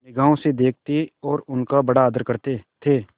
निगाह से देखते और उनका बड़ा आदर करते थे